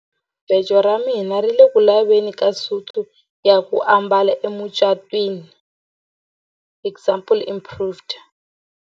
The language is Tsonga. Jahamubejo ra mina ri ku le ku laveni ka suti ya ku ambala emucatwini example improved.